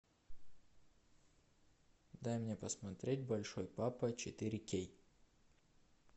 дай мне посмотреть большой папа четыре кей